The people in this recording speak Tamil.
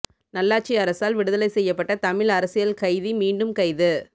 நல்லாட்சி அரசால் விடுதலை செய்யப்பட்ட தமிழ் அரசியல் கைதி மீண்டும் கைது